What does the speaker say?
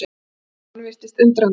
Jóhann virtist undrandi.